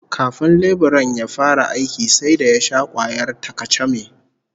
Kafin leburan ya fara aikin sai da ya sha kwayar ta-kacame